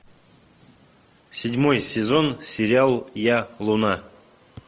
седьмой сезон сериал я луна